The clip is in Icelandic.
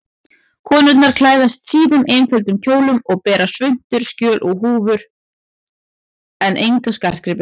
Konurnar klæðast síðum, einföldum kjólum og bera svuntur, sjöl og húfur en enga skartgripi.